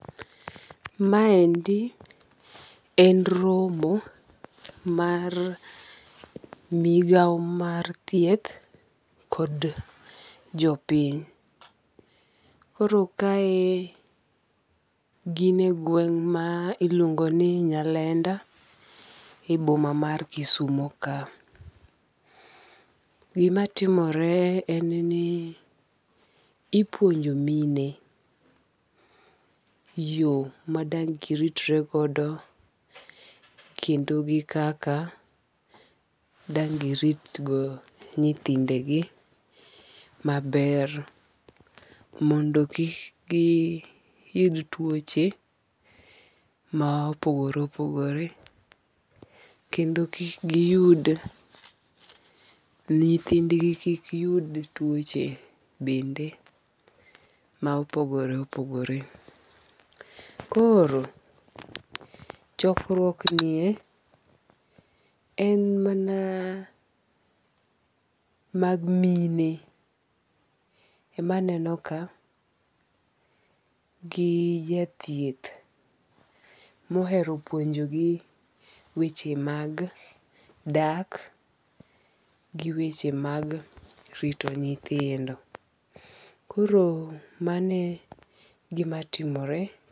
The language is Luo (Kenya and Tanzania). Ma endi en romo mar migao mar thieth kod jopiny. Koro kae gin e gweng' ma iluongo ni Nyalenda e boma mar Kisumo ka. Gimatimore en ni ipuonjo mine yo madang' giritre godo kendo gi kaka dang' girit go nyithinde gi maber mondo kik giyud tuoche ma opogore opogore kendo kik giyud, nyithind gi kik yud tuoche bende ma opogore opogore. Koro chokruok nie en mana mag mine emaneno ka gi jathieth mohero puonjo gi weche mag dak gi weche mag rito nyithindo. Koro mano e gima timore.